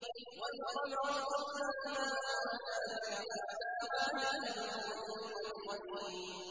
وَالْقَمَرَ قَدَّرْنَاهُ مَنَازِلَ حَتَّىٰ عَادَ كَالْعُرْجُونِ الْقَدِيمِ